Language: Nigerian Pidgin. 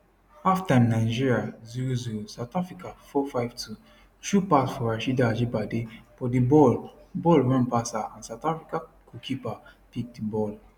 halftime nigeria 00 south africa 452 thru pass for rasheedat ajibade but di ball ball run pass her and south africa goalkeeper pick di ball